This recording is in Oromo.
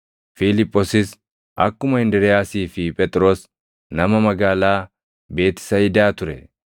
Fiiliphoosis akkuma Indiriiyaasii fi Phexros nama magaalaa Beetisayidaa ture.